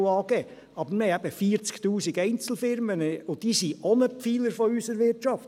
Aber wir haben eben 40’000 Einzelfirmen und diese sind auch ein Pfeiler unserer Wirtschaft.